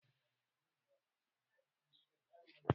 Ministan ya ba da haƙuri bayan miyagun jawabin sa